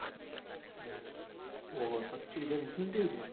હોવ પચ્ચિ હજાર incentive છે.